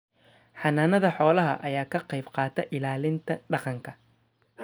Xanaanada xoolaha ayaa ka qayb qaata ilaalinta dhaqanka.